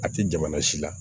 A tɛ jamana si la